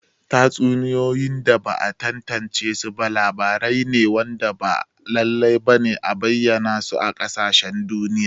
Tatsuniyoyi da ba'a tantance ba labarai ne waɗanda ba lallai ba ne a bayyana su a matsayin ƙasashen duniya.